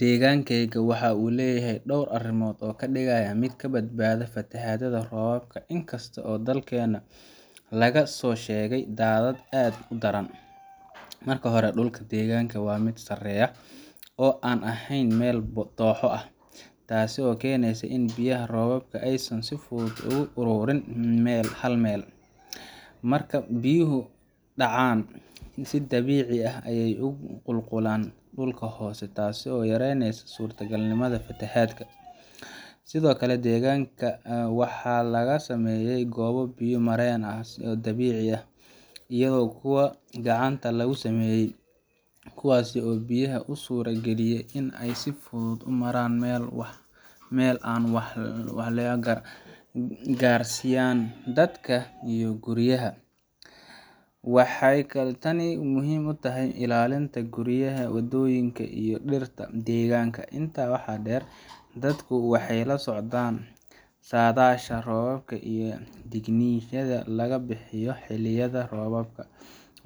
Deegaankayga waxa uu leeyahay dhowr arrimood oo ka dhigaya mid ka badbaada fatahaadaha roobabka, inkastoo dalkeenna laga soo sheegay daadad aad u daran. Marka hore, dhulka deegaanka waa mid sareeya oo aan ahayn meel dooxo ah, taasoo keenaysa in biyaha roobka aysan si fudud ugu ururin hal meel. Marka biyuhu dhacaan, si dabiici ah ayay ugu qulqulaan dhulka hoose, taasoo yareyneysa suurtagalnimada fatahaad. Sidoo kale, deegaanka waxaa laga sameeyay goobo biyo mareen ah oo dabiici ah iyo kuwo gacanta lagu sameeyay, kuwaas oo biyaha u suura geliya inay si fudud u maraan meel aan waxyeello gaarsiinayn dadka iyo guryaha. Waxay tani muhiim u tahay ilaalinta guryaha, waddooyinka, iyo dhirta deegaanka. Intaa waxaa dheer, dadku waxay la socdaan saadaasha roobka iyo digniinaha laga bixiyo xilliyada roobabka